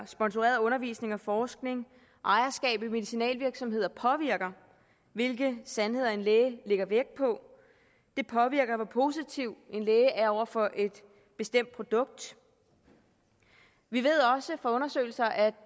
sponsoreret undervisning og forskning og ejerskab af medicinalvirksomheder påvirker hvilke sandheder en læge lægger vægt på det påvirker hvor positiv en læge er over for et bestemt produkt vi ved også fra undersøgelser at